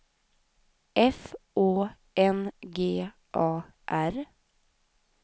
F Å N G A R